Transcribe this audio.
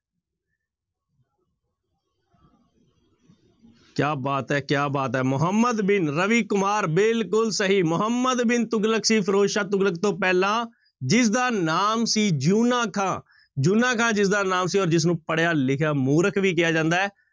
ਕਿਆ ਬਾਤ ਹੈ ਕਿਆ ਬਾਤ ਹੈ ਮੁਹੰਮਦ ਬਿਨ, ਰਵੀ ਕੁਮਾਰ ਬਿਲਕੁਲ ਸਹੀ, ਮੁਹੰਮਦ ਬਿਨ ਤੁਗਲਕ ਸੀ ਫ਼ਿਰੋਜ਼ਸ਼ਾਹ ਤੁਗਲਕ ਤੋਂ ਪਹਿਲਾਂ, ਜਿਸਦਾ ਨਾਮ ਸੀ ਜਿਉਨਾ ਖਾਂ ਜਿਉਨਾ ਖਾਂ ਜਿਸਦਾ ਨਾਮ ਸੀ ਔਰ ਜਿਸਨੂੰ ਪੜ੍ਹਿਆ ਲਿਖਿਆ ਮੂਰਖ ਵੀ ਕਿਹਾ ਜਾਂਦਾ ਹੈ।